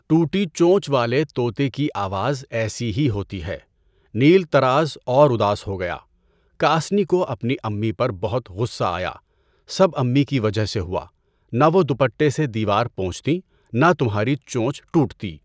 ٹوٹی چونچ والے طوطے کی آواز ایسی ہی ہوتی ہے۔ نیل طراز اور اداس ہو گیا۔ کاسنی کو اپنی امی پر بہت غصہ آیا، سب امی کی وجہ سے ہوا، نہ وہ دوپٹے سے دیوار پونچھتیں نہ تمہاری چونچ ٹوٹتی۔